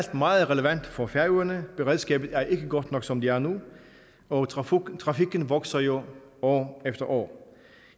meget relevant for færøerne beredskabet er ikke godt nok som det er nu og trafikken trafikken vokser jo år efter år